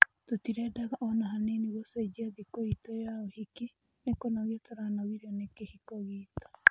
Tũtirendaga ona hanini gũcenjia thĩkũitũya ũhiki. Nĩ kũnogio turanogirĩo nĩ kĩhiko gĩtũ